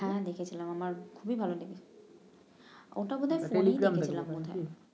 হ্যাঁ দেখেছিলাম আমার খুবই ভাল লেগেছে ওটা বোধ হয় ফোনেই দেখেছিলাম বোধ হয়